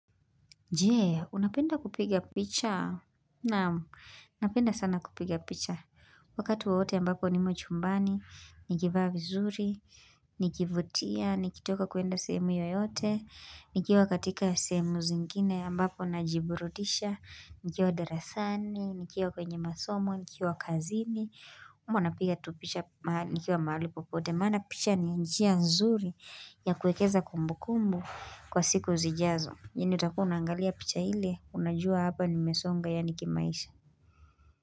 Je, unapenda kupiga picha? Na'am, napenda sana kupiga picha. Wakati wowote ambapo nimo chumbani, nikivaa vizuri, nikivutia, nikitoka kuenda sehemu yoyote, nikiwa katika sehemu zingine ambapo najiburudisha, nikiwa darasani, nikiwa kwenye masomo, nikiwa kazini, ama unapiga tu picha mahali, nikiwa mahali popote. Maana picha ni njia nzuri ya kuwekeza kumbukumbu kwa siku zijazo. Ingine utakuwa unaangalia picha ile unajua hapa nimesonga yaani kimaisha.